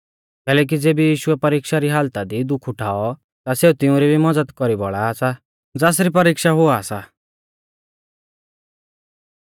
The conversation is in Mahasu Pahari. कैलैकि ज़ेबी यीशुऐ परिक्षा री हालता दी दुःख उठाऔ ता सेऊ तिउंरी भी मज़द कौरी बौल़ा सा ज़ासरी परिक्षा हुआ सा